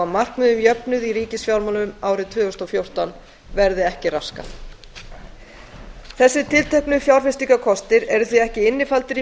markmiði um jöfnuð í ríkisfjármálum árið tvö þúsund og fjórtán verði ekki raskað þessir tilteknu fjárfestingarkostir eru því ekki innifaldir í